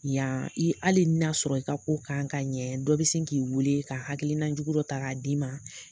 Yan i hali na sɔrɔ i ka ko kan ka ɲɛ, dɔ be se k'i weele ka hakilina jugu dɔ ta ka di ma